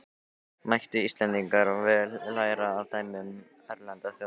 Mættu Íslendingar vel læra af dæmum erlendra þjóða.